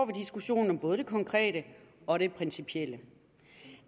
diskussionen om både det konkrete og det principielle